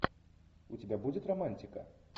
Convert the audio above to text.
у тебя будет романтика